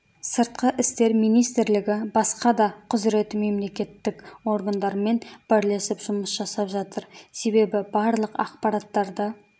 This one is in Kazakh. сыртқы істер министрлігі басқа да құзыреті мемлекеттік органдармен бірлесіп жұмыс жасап жатыр себебі барлық ақпараттарды